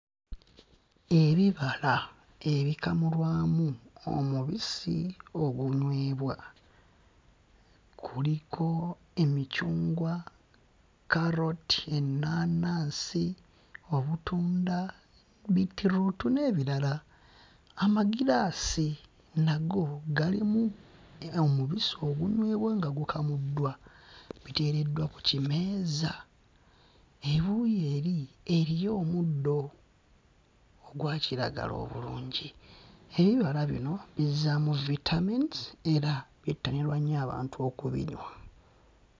Ebibala ebikamulwamu omubisi ogunywebwa kuliko emicungwa, kkaloti ennaanaasi, obutunda, beetroot n'ebirala. Amagiraasi nago galimu era omubisi ogunywebwa nga gukamuddwa biteereddwa ku kimeeza. Ebuuyi eri eriyo omuddo ogwa kiragala obulungi ebibala bino bizzaamu vitamins era byettanirwa nnyo abantu okubinywa.